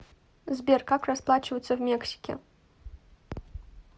сбер как расплачиваться в мексике